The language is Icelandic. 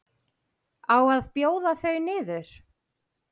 Á að bjóða þau niður?